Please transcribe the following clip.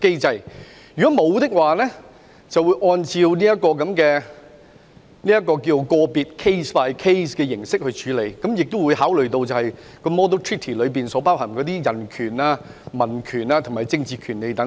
對於沒有與香港簽署恆常協定的地方，便會按照個案形式處理，亦會考慮《引渡示範條約》所包含的人權、公民權利和政治權利等。